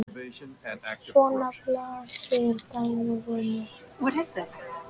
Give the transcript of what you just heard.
Svona blasir dæmið við mér.